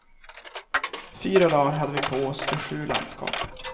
Fyra dar hade vi på oss för sju landskap.